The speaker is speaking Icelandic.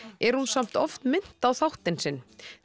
er hún samt oft minnt á þáttinn sinn